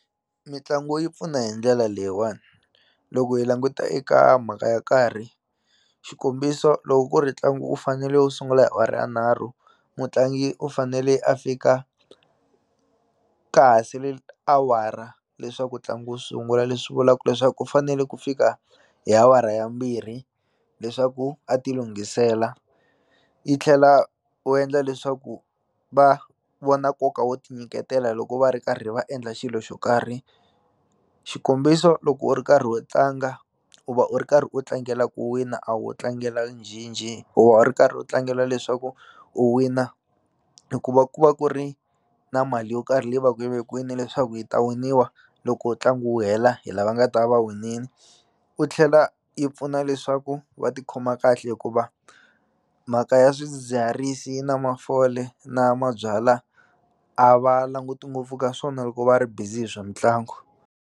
Mitlangu yi pfuna hi ndlela leyiwani loko hi languta eka mhaka ya nkarhi xikombiso loko ku ri ntlangu wu fanele wu sungula hi awara ya nharhu mutlangi u fanele a fika ka ha sele awara leswaku ntlangu wu sungula leswi vulaku leswaku u fanele ku fika hi awara yambirhi leswaku a ti lunghisela i tlhela wu endla leswaku va vona nkoka wo ti nyiketela loko va ri karhi va endla xilo xo karhi xikombiso loko u ri karhi u tlanga u va u ri karhi u tlangela ku wina a wo tlangela njhenjhe u va u ri karhi u tlangela leswaku u wina hikuva ku va ku ri na mali yo karhi leyi va ku yi vekiwini leswaku yi ta winiwa loko tlanga wu hela hi lava nga ta va winini u tlhela yi pfuna leswaku va tikhoma kahle hikuva mhaka ya swidzidziharisi na mafole na mabyala a va languti ngopfu ka swona loko va ri busy hi swa mitlangu.